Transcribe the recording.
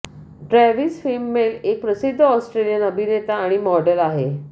Travis Fimmel एक प्रसिद्ध Australian अभिनेता आणि मॉडेल आहे